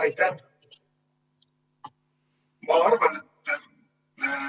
Aitäh!